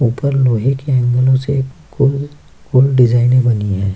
ऊपर लोहे के एंगलों से गोल-गोल डिजाइनें बनी हैं।